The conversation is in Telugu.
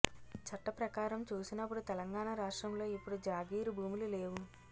చట్టప్రకారం చూసినప్పుడు తెలంగాణ రాష్ట్రంలో ఇప్పుడు జాగీరు భూములు లేవు